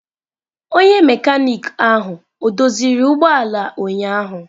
Onye mekaniki ahụ o doziri ụgbọ ala ụnyahụ?